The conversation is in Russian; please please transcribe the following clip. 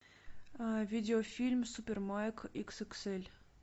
видео фильм супер майк икс икс эль